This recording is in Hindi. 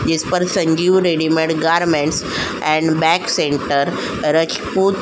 जिस पर Sanjeev readymade garments and bag centre Rajput --